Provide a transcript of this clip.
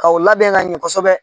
K'aw labɛn ka ɲɛ kosɛbɛ.